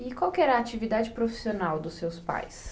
E qual era a atividade profissional dos seus pais?